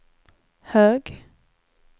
hög